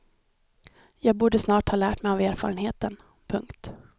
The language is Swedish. Jag borde snart ha lärt av erfarenheten. punkt